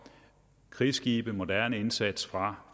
krigsskibe moderne indsats fra